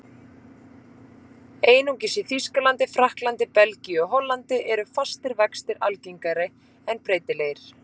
Einungis í Þýskalandi, Frakklandi, Belgíu og Hollandi eru fastir vextir algengari en breytilegir.